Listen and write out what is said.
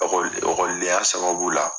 okɔlidenya sababu la